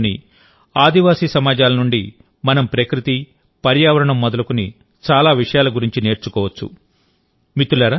నేటికీదేశంలోని ఆదివాసి సమాజాల నుండి మనం ప్రకృతి పర్యావరణం మొదలుకుని చాలా విషయాల గురించి నేర్చుకోవచ్చు